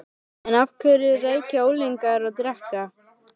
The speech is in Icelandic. En af hverju reykja unglingar og drekka?